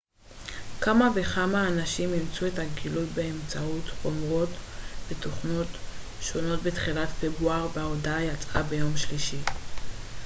כמה וכמה אנשים אימתו את הגילוי באמצעות חומרות ותוכנות שונות בתחילת פברואר וההודעה יצאה ביום שלישי